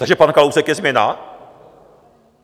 Takže pan Kalousek je změna?